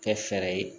Kɛ fɛɛrɛ ye